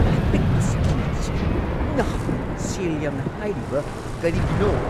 ꯑꯄꯤꯛꯄ ꯁꯦꯝꯖꯤꯟꯕ ꯑꯁꯤꯒꯤꯗꯃꯛ ꯅꯍꯥꯛꯅ ꯁꯦꯜ ꯌꯥꯝꯅ ꯍꯥꯏꯔꯤꯕ ꯀꯔꯤꯒꯤꯅꯣ?